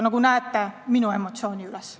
Nagu näete, see viib ka minu emotsioonid üles.